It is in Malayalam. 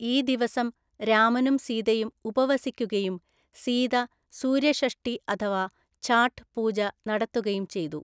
ഈ ദിവസം രാമനും സീതയും ഉപവസിക്കുകയും, സീത സൂര്യഷഷ്ഠി അഥവാ ഛാഠ് പൂജ നടത്തുകയും ചെയ്തു.